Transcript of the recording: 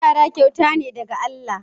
Yara kyauta ne daga Allah.